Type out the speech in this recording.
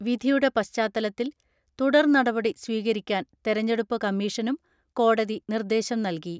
വിധിയുടെ പശ്ചാത്തലത്തിൽ തുടർ നടപടി സ്വീകരിക്കാൻ തെരഞ്ഞെടുപ്പ് കമ്മീഷനും കോ ടതി നിർദേശം നൽകി.